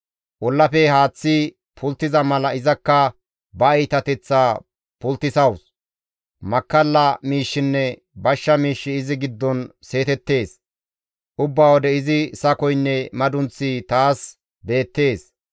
Ollafe haaththi pulttiza mala izakka ba iitateththaa pulttisawus; Makkalla miishshinne bashsha miishshi izi giddon seetettees; ubba wode izi sakoynne madunththi taas beettees.